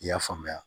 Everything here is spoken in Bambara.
I y'a faamuya